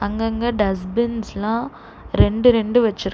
அங்கங்க டஸ் பின்ஸ்ல்லா ரெண்டு ரெண்டு வெச்சிருக்கா--